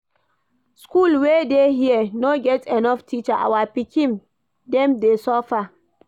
School wey dey here no get enough teacher, our pikin dem dey suffer.